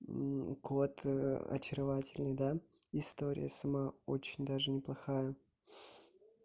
кот очаровательный да история сама очень даже неплохая